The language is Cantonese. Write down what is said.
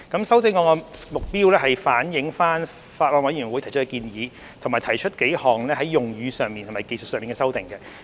修正案旨在反映法案委員會提出的建議，以及提出數項在用語上和技術性的修訂。